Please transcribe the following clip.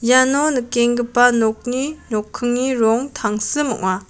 iano nikenggipa nokni nokkingni rong tangsim ong·a.